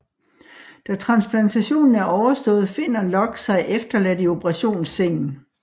Da transplantationen er overstået finder Locke sig efterladt i operationssengen